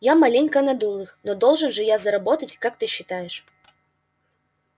я маленько надул их но должен же я заработать как ты считаешь